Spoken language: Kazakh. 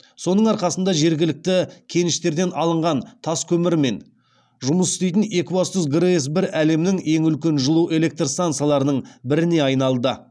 соның арқасында жергілікті кеніштерден алынған таскөмірмен жұмыс істейтін екібастұз грэс бір әлемнің ең үлкен жылу электр стансаларының біріне айналды